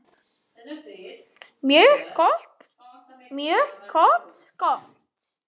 Mjög gott skot.